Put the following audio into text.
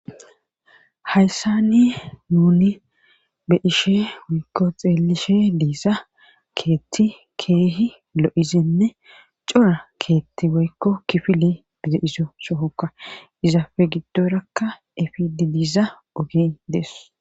hayssani nuni be ishe woykko xeelishe diisa keetti keehi lo7izenne cora keetti woykko kifili bize izo sohokka izaafe giddorakka efidi diisa oge dees